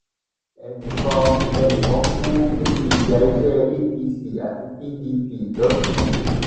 ẹnì kan ẹnì kan kú níbi ìjà ẹgbẹ apc àti pdp lọsùn